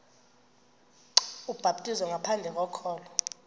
ubhaptizo ngaphandle kokholo